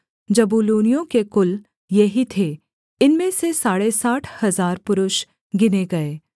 जबूलूनियों के कुल ये ही थे इनमें से साढ़े साठ हजार पुरुष गिने गए